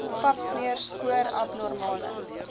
papsmeer spoor abnormale